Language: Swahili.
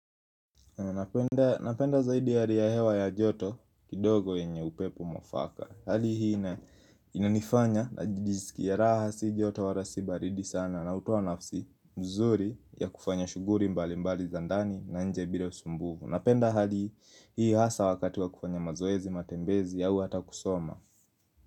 Napenda zaidi yaliya hewa ya joto kidogo yenye upepo mwafaka. Hali hii ina inanifanya najiskia raha si joto wala si baridi sana na hutowa nafsi mzuri ya kufanya shuguli mbalimbali za ndani na nje bila usumbufu. Napenda hali hii hasa wakati wa kufanya mazoezi, matembezi au hata kusoma.